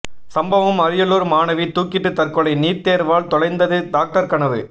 சம்பவம் அரியலூர் மாணவி தூக்கிட்டு தற்கொலை நீட் தேர்வால் தொலைந்தது டாக்டர் கனவு